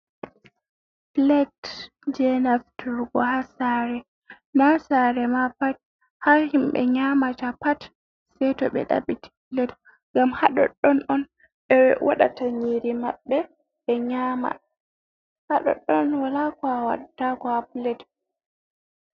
"Pilet" je nafturgo ha sare. Na sare ma pat ha himɓe nyamata pat sei to ɓe ɗabiti pilet ngam ha ɗoddon on ɓe wadata nyiri maɓɓe ɓe nyama ha ɗoddon wala ko a wattako ha pilet.